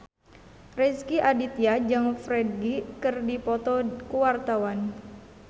Rezky Aditya jeung Ferdge keur dipoto ku wartawan